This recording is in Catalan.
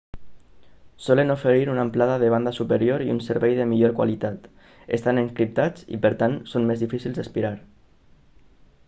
solen oferir una amplada de banda superior i un servei de millor qualitat estan encriptats i per tant són més difícils d'espiar